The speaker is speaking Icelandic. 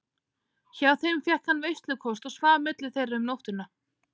Hjá þeim fékk hann veislukost og svaf milli þeirra um nóttina.